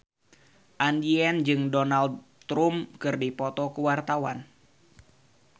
Andien jeung Donald Trump keur dipoto ku wartawan